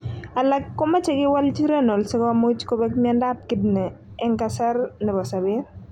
Alak komoche kiwalchi renal sikomuch kopeg mionadp kidney. En kasr nepo sopet.